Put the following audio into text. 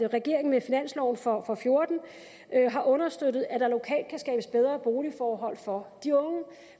regeringen med finansloven for to og fjorten har understøttet at der lokalt kan skabes bedre boligforhold for de unge